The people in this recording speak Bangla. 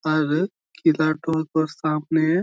আর ইদারা টো সামনে --